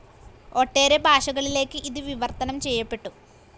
ഒട്ടേറെ ഭാഷകളിലേക്ക് ഇതു വിവർത്തനം ചെയ്യപ്പെട്ടു.